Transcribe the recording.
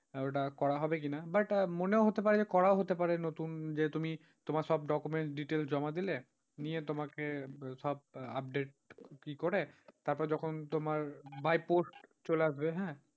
ওটা করা হবে কিনা but মনেও হতে পারে যে করাও হতে পারে নতুন যে তুমি তোমার সব documents details জমা দিলে নিয়ে তোমাকে সব update কি করে তারপর যখন তোমার by post চলে আসবে। আহ